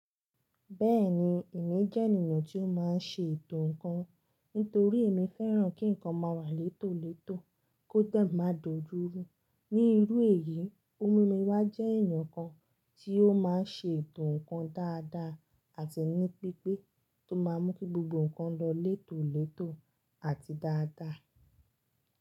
Bẹ́ẹ̀ni, èmi jẹ́ ènìyàn tí ó máa ń ṣe ètò ǹkan. Nítorí èmi fẹ́ràn kí ǹ kan máa wà létòletò kó dẹ̀ máa dojúru. Ní irú èyí, o mumí wa jẹ́ ẹ̀yàn kan tí ó máa ń ṣe ètò ǹkan dáadáa àti ní pípé tó máa mú kí gbogbo ǹkan lọ létòletò àti dáadáa.